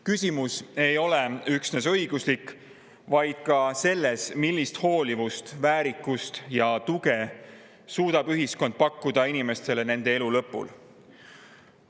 Küsimus ei ole üksnes õiguslik, vaid ka selles, millist hoolivust, väärikust ja tuge suudab ühiskond pakkuda inimestele nende elu lõpul.